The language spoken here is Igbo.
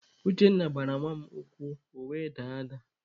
Uchenna gbara nwa mụ ụkwụ ọ were daa ada.